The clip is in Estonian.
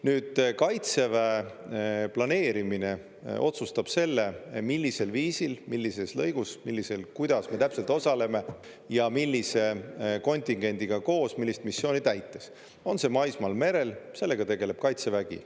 Nüüd, Kaitseväe planeerimine otsustab selle, millisel viisil, millises lõigus, kuidas me täpselt osaleme ja millise kontingendiga koos millist missiooni täites, on see maismaal, merel – sellega tegeleb Kaitsevägi.